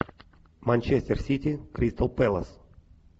манчестер сити кристал пэлас